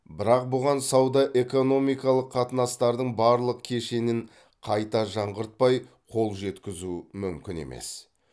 бірақ бұған сауда экономикалық қатынастардың барлық кешенін қайта жаңғыртпай қол жеткізу мүмкін емес